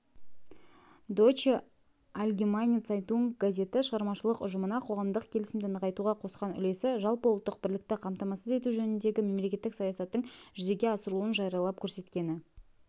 дойче альгемайне цайтунг газеті шығармашылық ұжымына қоғамдық келісімді нығайтуға қосқан үлесі жалпыұлттық бірлікті қамтамасыз ету жөніндегі мемлекеттік саясаттың жүзеге асырылуын жариялап-көрсеткені